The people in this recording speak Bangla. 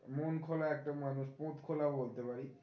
মন খোলা একটা মানুষ, খোলাও বলতে পারিস